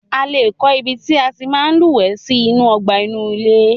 A lé kọ́ ibi tí a tí máa ń lúwẹ̀ẹ́ sí inú ọgbà inú ilé.